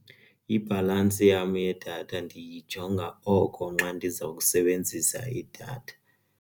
Ibhalansi yam yedatha ndiyijonga oko nxa ndiza kusebenzisa idatha.